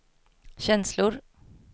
känslor